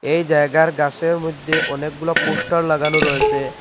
এই জায়গার গাসের মইধ্যে অনেকগুলা পোস্টার লাগানো রয়েছে।